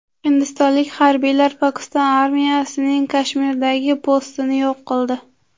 Hindistonlik harbiylar Pokiston armiyasining Kashmirdagi postini yo‘q qildi.